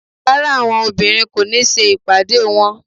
Rárá àwọn obìnrin kò ní ṣe ìpàdé wọ́n.